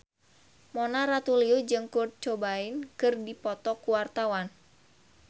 Mona Ratuliu jeung Kurt Cobain keur dipoto ku wartawan